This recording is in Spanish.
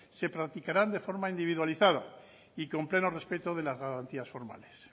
se practicarán de forma individualizada y con pleno respeto de las garantías formales